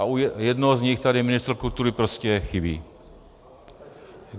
A u jednoho z nich tady ministr kultury prostě chybí.